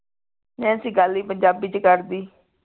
Nancy ਗੱਲ ਹੀ ਪੰਜਾਬੀ ਚ ਕਰਦੀ